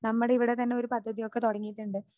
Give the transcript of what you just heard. നമ്മുടെ ഇവിടെ തന്നെ ഒരു പദ്ധതിയൊക്കെ തുടങ്ങിയിട്ടുണ്ട്.